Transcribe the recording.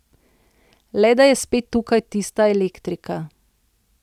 Le da je spet tukaj tista elektrika.